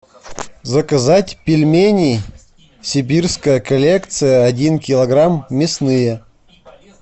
заказать пельмени сибирская коллекция один килограмм мясные